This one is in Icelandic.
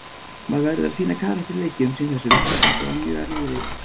Maður verður að sýna karakter í leikjum sem þessum, þetta var mjög erfiður leikur.